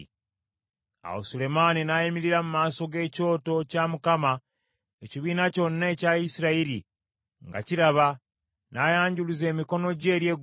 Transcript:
Awo Sulemaani n’ayimirira mu maaso g’ekyoto kya Mukama ekibiina kyonna ekya Isirayiri nga kiraba, n’ayanjuluza emikono gye eri eggulu,